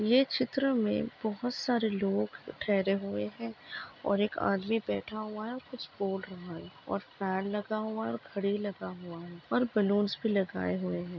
यह एक चित्र में बहुत सारे लोग ठहरे हुए है और एक आदमी बैठा हुआ है कुछ बोल रहा है और फैन लगा हुआ है घड़ी लगा हुआ है और बलूंस भी लगाए गए है।